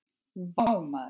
Vá maður!